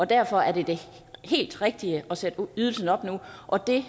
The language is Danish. derfor er det det helt rigtige at sætte ydelsen op nu og det